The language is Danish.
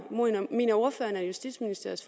ordføreren at justitsministeriets